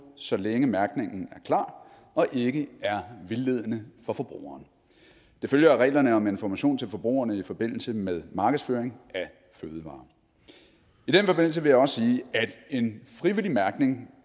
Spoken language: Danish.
så længe mærkningen er klar og ikke er vildledende for forbrugeren det følger af reglerne om information til forbrugerne i forbindelse med markedsføring af fødevarer i den forbindelse vil jeg også sige at en frivillig mærkning